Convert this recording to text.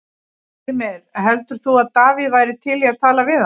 Styrmir, heldur þú að Davíð væri til í að tala við hann?